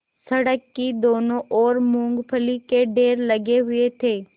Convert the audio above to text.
सड़क की दोनों ओर मूँगफली के ढेर लगे हुए थे